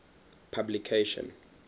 publication